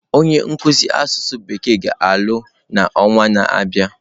Onye nkuzi asụsụ bekee ga-alụ n'ọnwa na-abịa.